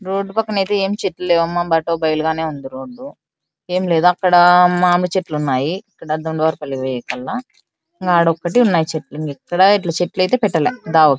Road పక్కన అయితే చెట్లు ఎం లేవు బైలు గానే ఉంది రోడ్ ఎం లేదు అక్కడ మామిడి చెట్లు ఉన్నాయి అక్కడ ఒక రెండు చెట్లు ఉన్నాయి ఎక్కడ ఇట్లా చెట్లు ఐతే పెట్టాలా .